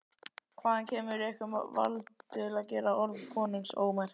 Hvaðan kemur ykkur vald til að gera orð konungs ómerk?